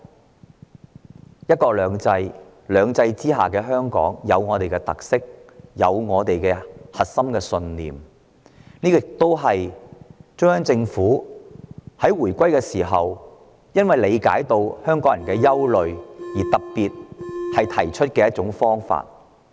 在"一國兩制"的"兩制"之下，香港有本身的特色和核心信念，這亦是中央政府在香港回歸前因理解港人憂慮而特別提出的方法。